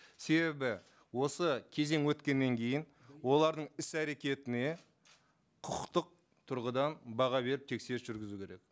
себебі осы кезең өткеннен кейін олардың іс әрекетіне құқықтық тұрғыдан баға беріп тексеріс жүргізу керек